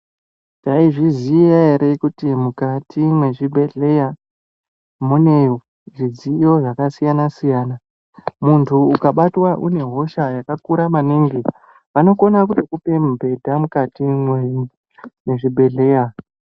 Taizviziya ere kuti mukati mwezvibhehlera mune zvidziyo zvakasiyana -siyana. Muntu ukabatwa une hosha yakakura maningi vanokona kutokupa mubhedha mukati mwezvibhehlera.